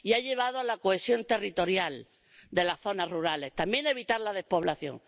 y ha llevado a la cohesión territorial de las zonas rurales y también a evitar la despoblación.